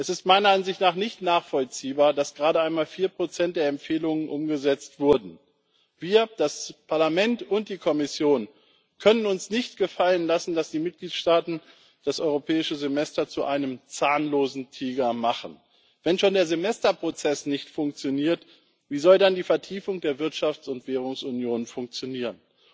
Es ist meiner Ansicht nach nicht nachvollziehbar, dass gerade einmal 4 der Empfehlungen umgesetzt wurden. Wir, das Parlament und die Kommission, können uns nicht gefallen lassen, dass die Mitgliedstaaten das Europäische Semester zu einem zahnlosen Tiger machen. Wenn schon der Semesterprozess nicht funktioniert, wie soll dann die Vertiefung der Wirtschafts und Währungsunion funktionieren?